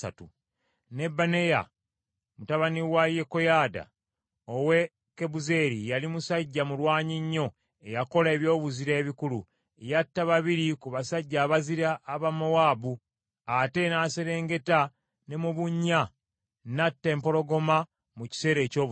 Ne Benaya mutabani wa Yekoyaada ow’e Kabuzeeri yali musajja mulwanyi nnyo eyakola ebyobuzira ebikulu. Yatta babiri ku basajja abazira aba Mowaabu, ate n’aserengeta ne mu bunnya n’atta empologoma mu kiseera eky’obutiti.